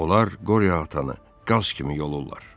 Onlar qoria atanı qaz kimi yollurlar.